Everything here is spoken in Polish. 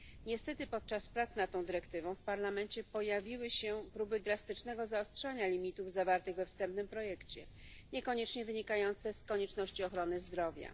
Niestety podczas prac nad tą dyrektywą w Parlamencie pojawiły się próby drastycznego zaostrzania limitów zawartych we wstępnym projekcie, niekoniecznie wynikające z konieczności ochrony zdrowia.